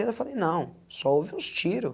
Eu falei, não, só houve uns tiro.